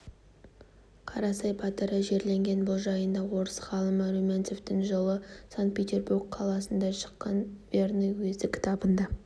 қарасай батыры жерленген бұл жайында орыс ғалымы румянцевтің жылы санкт-петербург қаласында шыққан верный уезі кітабында